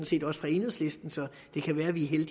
set også på enhedslisten så det kan være at vi